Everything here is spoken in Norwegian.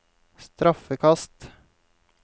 straffekast